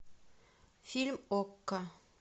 фильм окко